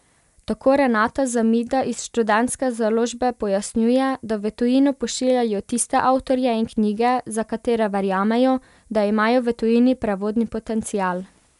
Tako Renata Zamida iz Študentske založbe pojasnjuje, da v tujino pošiljajo tiste avtorje in knjige, za katere verjamejo, da imajo v tujini prevodni potencial.